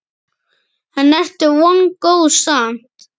En ertu vongóður samt?